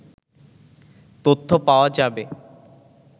তথ্য পাওয়া যাবে